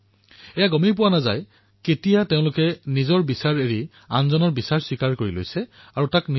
দুয়োজনেই গমেই নাপাও যে কেতিয়া আৰু কিদৰে নিজৰ চিন্তাধাৰা ত্যাগ কৰি আনজনক স্বীকাৰ কৰি লৈছো